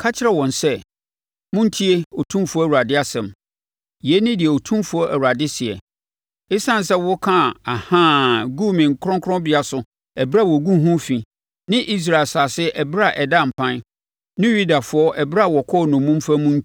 Ka kyerɛ wɔn sɛ, ‘Montie Otumfoɔ Awurade asɛm. Yei ne deɛ Otumfoɔ Awurade seɛ: Esiane sɛ wokaa “Ahaa” guu me kronkronbea so ɛberɛ a wɔguu ho fi ne Israel asase ɛberɛ a ɛdaa mpan, ne Yudafoɔ ɛberɛ a wɔkɔɔ nnommumfa mu